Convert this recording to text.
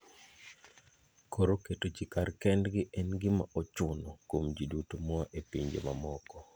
Koro keto ji kar kendgi en gima ochuno kuom ji duto moa e pinje mamoko.